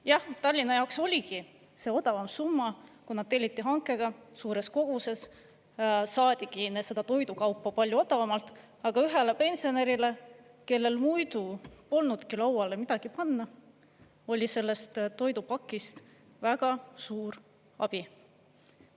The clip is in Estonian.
Jah, Tallinna jaoks oligi see odavam summa, kuna telliti hankega suures koguses, saadigi seda toidukaupa palju odavamalt, aga ühele pensionärile, kellel muidu polnudki lauale midagi panna, oli sellest toidupakist väga suur abi.